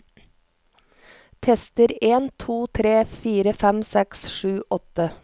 Tester en to tre fire fem seks sju åtte